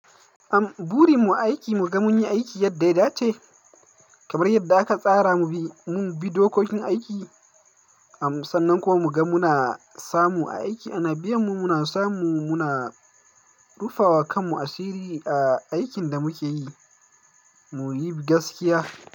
Am buri mu aiki mu ga mun yi aiki yadda ya dace, kamar yadda aka tsara mu bi dokokin aiki. Am sannan kuma mu ga muna samu aiki. A na biyan mu muna samu muna rufawa kanmu asiri a aikin da muke yi. Mu yi gaskiya.